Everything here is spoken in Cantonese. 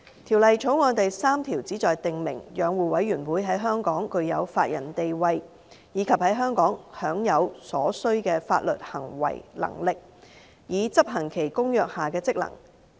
《條例草案》第3條旨在訂明，養護委員會在香港具有法人地位；以及在香港享有所需的法律行為能力，以執行其《公約》下的職能。